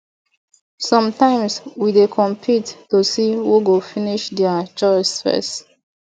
sometimes we dey compete to see who go finish their chores first